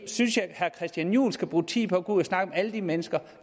synes at herre christian juhl skal bruge tid på at gå ud og snakke med alle de mennesker